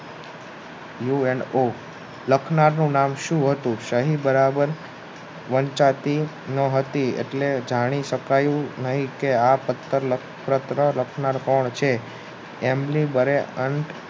you and ઓ લખનારનું નામ સુ હતું સહી બરાબર વંચાતું ન હતું એટલે જાણી શકાયું નહિ કે આ પત્ર લખણાર કોણ છે એમને